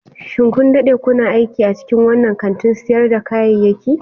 Shin kun dade kuna aiki a cikin wannan kantin sayar da kayayyaki?